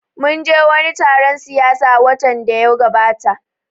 Mun je wani taron siyasa watan da ya gabata